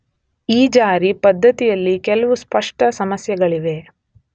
ಈ ಜಾರಿ ಪದ್ದತಿಯಲ್ಲಿ ಕೆಲವು ಸ್ಪಷ್ಟ ಸಮಸ್ಯೆಗಳಿವೆ.